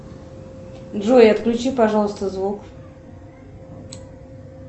джой отключи пожалуйста звук